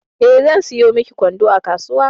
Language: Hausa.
Eh, zan sayo miki kwando a kasuwa.